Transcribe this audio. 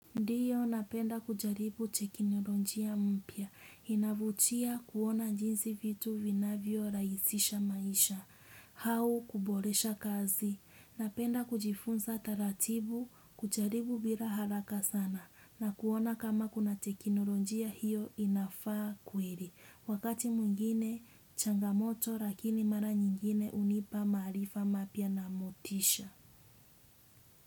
Ndio napenda kujaribu cheki napo njia mpya. Inavutia kuona jinsi vitu vinavyorahisisha maisha. Au kuboresha kazi. Napenda kujifunza taratibu kujaribu bila haraka sana. Na kuona kama kuna teknolojia hiyo inafaa kweli. Wakati mwingine changamoto lakini mara nyingine hunipa maarifa mapya na motisha.